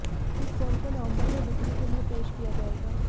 इस फोन को नवंबर में बिक्री के लिए पेश किया जाएगा